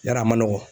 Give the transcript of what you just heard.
Yarɔ a man nɔgɔn